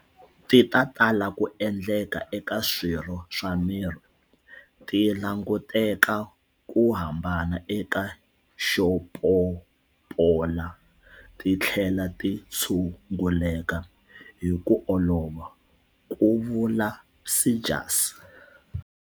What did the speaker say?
Ti ta tala ku endleka eka swirho swa miri, ti languteka ku hambana eka xo pompola ti tlhela ti tshu nguleka hi ku olova, ku vula Seegers.